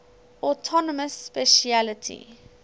autonomous specialty